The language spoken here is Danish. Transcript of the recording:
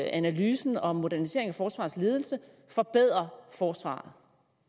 analysen om modernisering af forsvarets ledelse forbedrer forsvaret